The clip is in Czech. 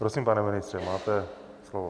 Prosím, pane ministře, máte slovo.